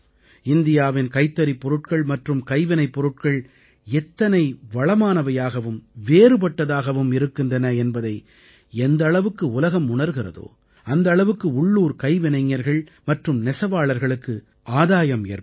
இந்தியாவின் கைத்தறிப் பொருட்கள் மற்றும் கைவினைப் பொருட்கள் எத்தனை வளமானவையாகவும் வேறுபட்டதாகவும் இருக்கின்றன என்பதை எந்த அளவுக்கு உலகம் உணர்கிறதோ உணர்கிறதா அந்த அளவுக்கு உள்ளூர் கைவினைஞர்கள் மற்றும் நெசவாளர்களுக்கு ஆதாயம் ஏற்படும்